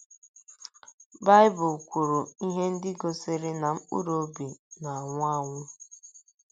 Baịbụl kwuru ihe ndị gosiri na mkpụrụ obi na - anwụ anwụ.